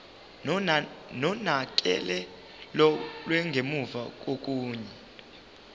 nonakekelo lwangemuva kokuya